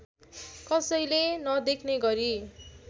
कसैले नदेख्ने गरी